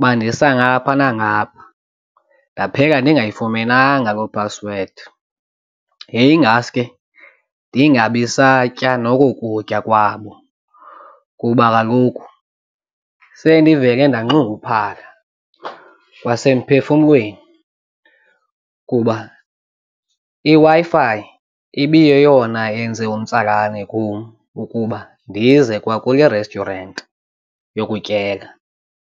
bandisa ngapha nangapha ndaphela ndingayifumenanga loo phasiwedi yayingaske ndingabi satya noko kutya kwabo. Kuba kaloku sendivele ndanxunguphala kwasemphefumlweni kuba iWi-Fi ibiyeyona yenze umtsalane kum ukuba ndize kwakule restaurant yokutyela.